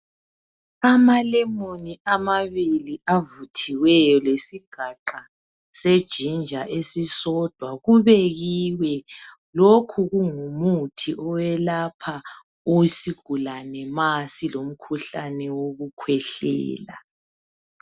Amalemon amabili avuthiweyo lesigaqa senginger esisodwa kubekiwe lokhu kungumuthi owelapha isigulane ma silomkhuhlane wokukhwehlela.